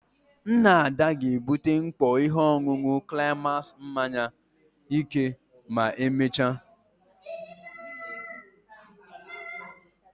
Nna Ada ga-ebute mkpọ ihe ọṅụṅụ climax mmanya ike ma emechaa.